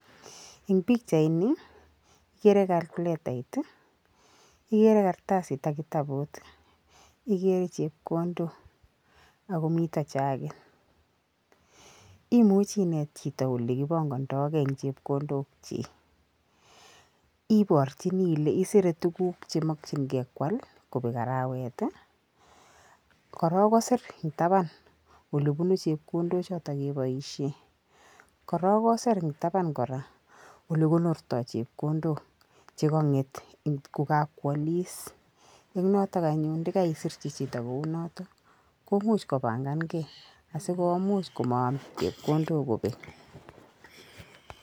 Eng pikchaini ikere kalkiletait ii, ikere kartasit ak kitabut, kikere chepkondok ako mito jakit, imuchi inet chito olekipongondoke eng chepkondokchi, iborchini ile isire tuguk chemokchingei kwal kobek arawet ii, korok kosir eng taban olebunu chepkondochoto keboisie, korok kosir eng taban kora olekonortoi chepkondok che konget ko kakwalis, eng notok anyun ndekaisirchi chito kou notok, komuch kopangangei asikomuch komaam chepkondok kobek.